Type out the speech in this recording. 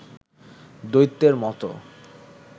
দৈত্যের মতো